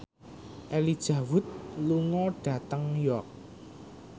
Elijah Wood lunga dhateng York